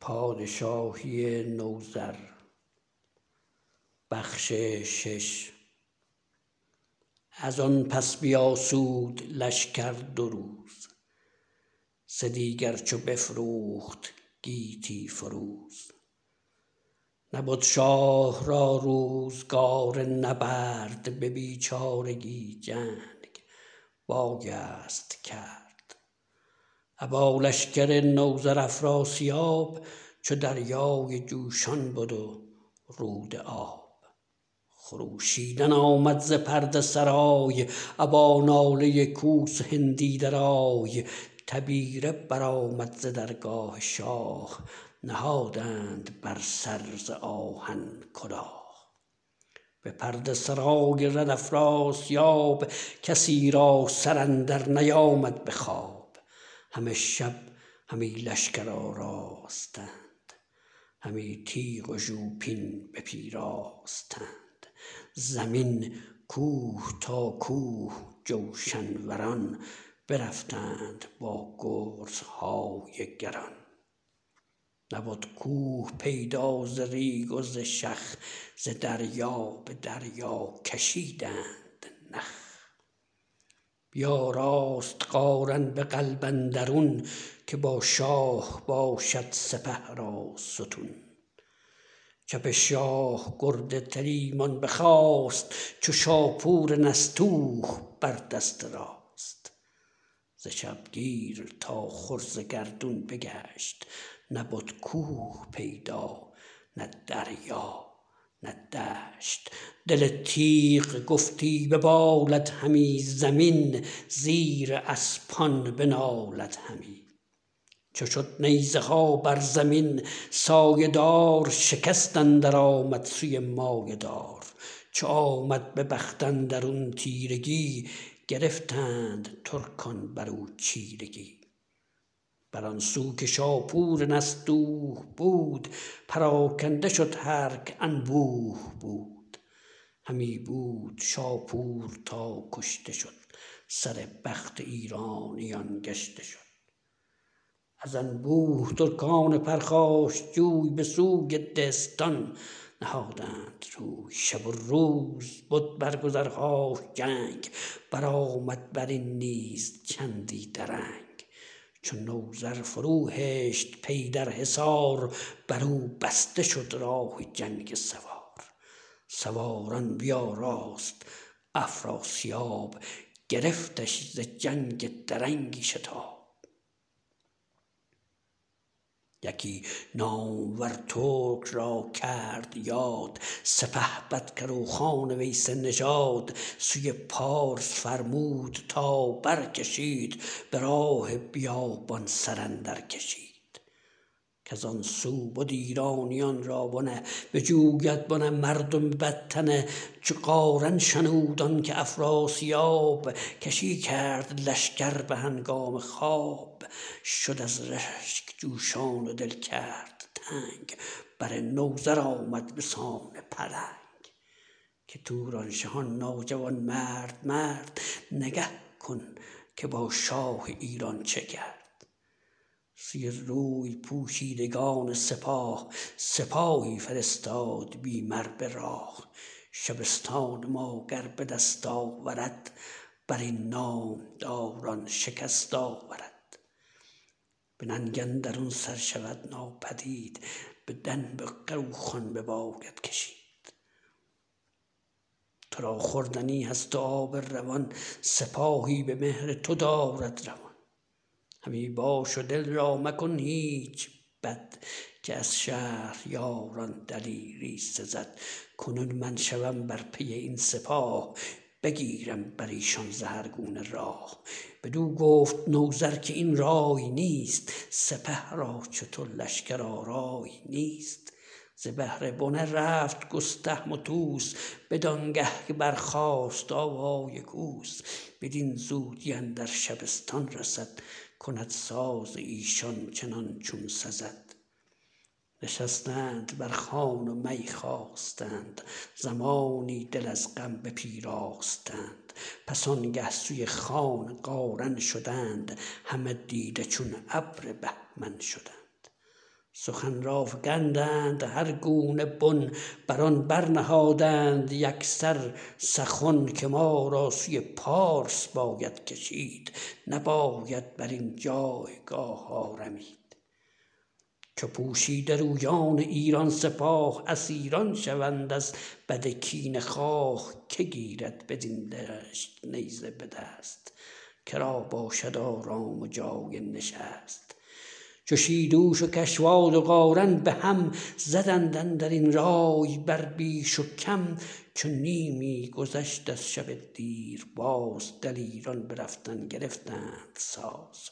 ازان پس بیاسود لشکر دو روز سه دیگر چو بفروخت گیتی فروز نبد شاه را روزگار نبرد به بیچارگی جنگ بایست کرد ابا لشکر نوذر افراسیاب چو دریای جوشان بد و رود آب خروشیدن آمد ز پرده سرای ابا ناله کوس و هندی درای تبیره برآمد ز درگاه شاه نهادند بر سر ز آهن کلاه به پرده سرای رد افراسیاب کسی را سر اندر نیامد به خواب همه شب همی لشکر آراستند همی تیغ و ژوپین بپیراستند زمین کوه تا کوه جوشن وران برفتند با گرزهای گران نبد کوه پیدا ز ریگ و ز شخ ز دریا به دریا کشیدند نخ بیاراست قارن به قلب اندرون که با شاه باشد سپه را ستون چپ شاه گرد تلیمان بخاست چو شاپور نستوه بر دست راست ز شبگیر تا خور ز گردون بگشت نبد کوه پیدا نه دریا نه دشت دل تیغ گفتی ببالد همی زمین زیر اسپان بنالد همی چو شد نیزه ها بر زمین سایه دار شکست اندر آمد سوی مایه دار چو آمد به بخت اندرون تیرگی گرفتند ترکان برو چیرگی بران سو که شاپور نستوه بود پراگنده شد هرک انبوه بود همی بود شاپور تا کشته شد سر بخت ایرانیان گشته شد از انبوه ترکان پرخاشجوی به سوی دهستان نهادند روی شب و روز بد بر گذرهاش جنگ برآمد برین نیز چندی درنگ چو نوذر فرو هشت پی در حصار برو بسته شد راه جنگ سوار سواران بیاراست افراسیاب گرفتش ز جنگ درنگی شتاب یکی نامور ترک را کرد یاد سپهبد کروخان ویسه نژاد سوی پارس فرمود تا برکشید به راه بیابان سر اندر کشید کزان سو بد ایرانیان را بنه بجوید بنه مردم بدتنه چو قارن شنود آنکه افراسیاب گسی کرد لشکر به هنگام خواب شد از رشک جوشان و دل کرد تنگ بر نوذر آمد بسان پلنگ که توران شه آن ناجوانمرد مرد نگه کن که با شاه ایران چه کرد سوی روی پوشیدگان سپاه سپاهی فرستاد بی مر به راه شبستان ماگر به دست آورد برین نامداران شکست آورد به ننگ اندرون سر شود ناپدید به دنب کروخان بباید کشید ترا خوردنی هست و آب روان سپاهی به مهر تو دارد روان همی باش و دل را مکن هیچ بد که از شهریاران دلیری سزد کنون من شوم بر پی این سپاه بگیرم بریشان ز هر گونه راه بدو گفت نوذر که این رای نیست سپه را چو تو لشکرآرای نیست ز بهر بنه رفت گستهم و طوس بدانگه که برخاست آوای کوس بدین زودی اندر شبستان رسد کند ساز ایشان چنان چون سزد نشستند بر خوان و می خواستند زمانی دل از غم بپیراستند پس آنگه سوی خان قارن شدند همه دیده چون ابر بهمن شدند سخن را فگندند هر گونه بن بران برنهادند یکسر سخن که ما را سوی پارس باید کشید نباید برین جایگاه آرمید چو پوشیده رویان ایران سپاه اسیران شوند از بد کینه خواه که گیرد بدین دشت نیزه به دست کرا باشد آرام و جای نشست چو شیدوش و کشواد و قارن بهم زدند اندرین رای بر بیش و کم چو نیمی گذشت از شب دیریاز دلیران به رفتن گرفتند ساز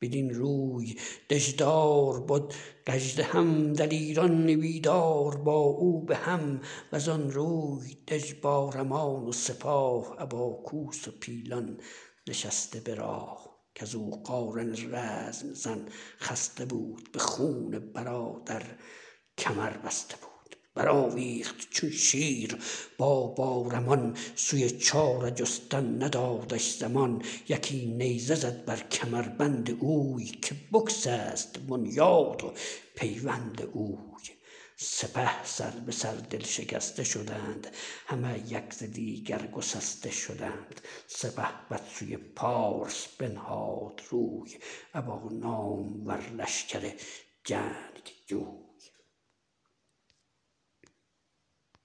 بدین روی دژدار بد گژدهم دلیران بیدار با او بهم وزان روی دژ بارمان و سپاه ابا کوس و پیلان نشسته به راه کزو قارن رزم زن خسته بود به خون برادر کمربسته بود برآویخت چون شیر با بارمان سوی چاره جستن ندادش زمان یکی نیزه زد بر کمربند اوی که بگسست بنیاد و پیوند اوی سپه سر به سر دل شکسته شدند همه یک ز دیگر گسسته شدند سپهبد سوی پارس بنهاد روی ابا نامور لشکر جنگ جوی